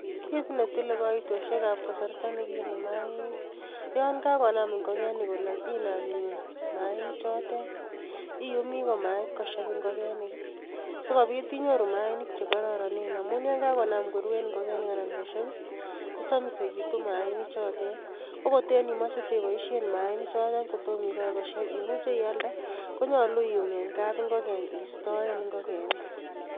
Kit netile kasarta nekiyuumi mainik, yon kakonaam ingokeni koloog. Inaam iyum mainichotet, iyumi komait kosheb ingokeni i,sikobiit inyoru mainik chelororonen. Amun yon kakonaam koruen ingokenik anan kosheeb kosomisekitun mainichotet. Ko koten imoche iteiboishien mainik chotet kotom ikochi kosheb, imuche iladee konyoolu iym en map ingoken istoen ingokenik